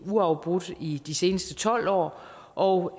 uafbrudt i de seneste tolv år og